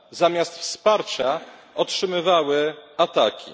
zamiast wsparcia otrzymywały ataki.